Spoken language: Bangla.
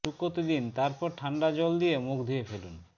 শুকোতে দিন তারপর ঠান্ডা জল দিয়ে মুখ ধুয়ে ফেলুন